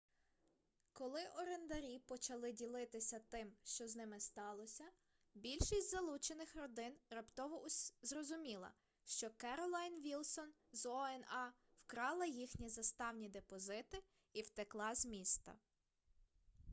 коли орендарі почали ділитися тим що з ними сталося більшість залучених родин раптово зрозуміла що керолайн вілсон з oha вкрала їхні заставні депозити і втекла з міста